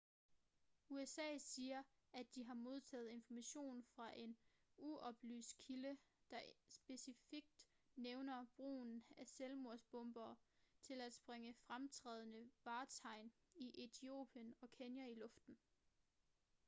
usa siger at de har modtaget information fra en uoplyst kilde der specifikt nævner brugen af ​​selvmordsbombere til at sprænge fremtrædende vartegn i etiopien og kenya i luften